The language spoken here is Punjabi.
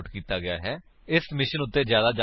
ਇਸ ਮਿਸ਼ਨ ਉੱਤੇ ਜਿਆਦਾ ਜਾਣਕਾਰੀ ਇਸ ਲਿੰਕ ਉੱਤੇ ਉਪਲੱਬਧ ਹੈ